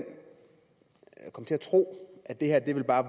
tro at det her bare